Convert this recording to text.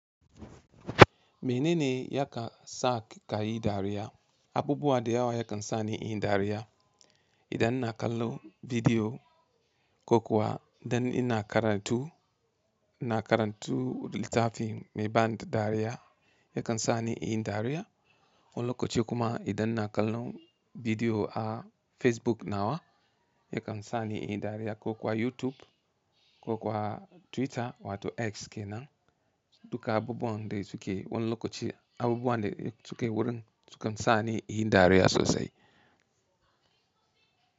Menene ya ka, sa ka yi dariya? Abubuwa da yawa yakan sa ni in yi dariya. Idan ina kallon bidiyo, ko kuwa idan ina karantu, ina karantu littafi mai ban dariya yakan sa ni in yi dariya. Wani lokaci kuma idan ina kallon, bidiyo a Facebook nawa, yakan sa ni in yi dariya ko kuwa YouTube, ko kuwa Twitter wato X kenan. Duka abubuwan de suke wani lokaci, abubuwan de suke wurin sukan sa ni in yi dariya sosai.